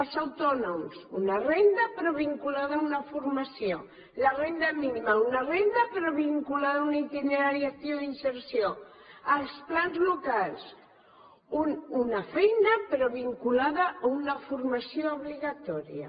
els autònoms una renda però vinculada a una formació la renda mínima una renda però vinculada a un itinerari actiu d’inserció els plans locals una feina però vinculada a una formació obligatòria